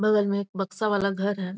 बगल में एक बक्सा वाला घर है।